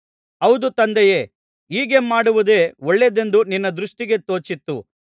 ಹೌದು ತಂದೆಯೇ ಹೀಗೆ ಮಾಡುವುದೇ ಒಳ್ಳೆಯದೆಂದು ನಿನ್ನ ದೃಷ್ಟಿಗೆ ತೋಚಿತು